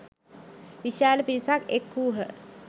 විශාල පිරිසක් එක් වූහ.